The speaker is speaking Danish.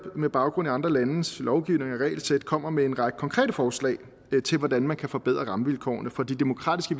med baggrund i andre landes lovgivning og regelsæt kommer med en række konkrete forslag til hvordan man kan forbedre rammevilkårene for de demokratiske